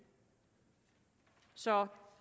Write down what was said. så